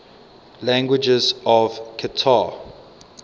languages of qatar